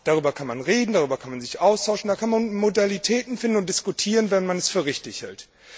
Darüber kann man reden, darüber kann man sich austauschen, da kann man Modalitäten finden und diskutieren, wenn man es für richtig hält.